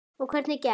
Og hvernig gekk?